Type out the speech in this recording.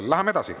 Läheme edasi.